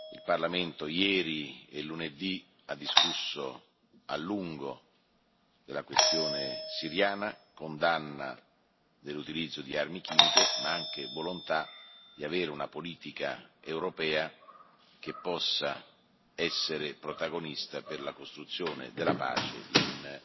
Il Parlamento ieri e lunedì ha discusso a lungo della questione siriana, condannando l'utilizzo delle armi chimiche ma esprimendo altresì la volontà che la politica europea possa essere protagonista per la costruzione della pace in